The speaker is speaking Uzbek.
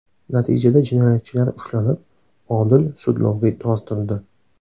Natijada jinoyatchilar ushlanib, odil sudlovga tortildi.